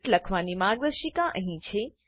script લખવાની માર્ગદર્શિકા અહીં છે